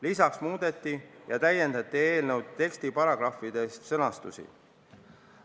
Lisaks muudeti ja täiendati eelnõu tekstiparagrahvide sõnastusi.